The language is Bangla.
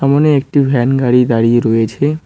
ওখানে একটি ভ্যান গাড়ি দাঁড়িয়ে রয়েছে।